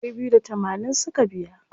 Ɗari biyu da tamanin suka biya.